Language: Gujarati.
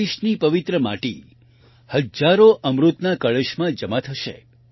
દેશની પવિત્ર માટી હજારો અમૃતના કળશમાં જમા થશે